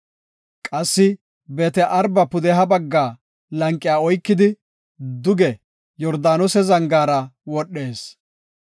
Qassi Beet-Araba pudeha bagga lanqiya oykidi, duge Yordaanose zangaara wodhees.